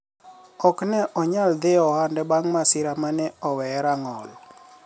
ok ne onyal dhi e ohande bang' masira mane oweye rang'ol